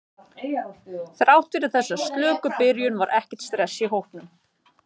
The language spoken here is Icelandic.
Þrátt fyrir þessa slöku byrjun var ekkert stress í hópnum.